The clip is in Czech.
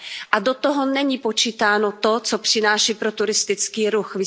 A do toho není počítáno to, co přináší pro turistický ruch.